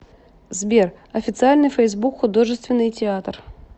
сбер официальный фейсбук художественный театр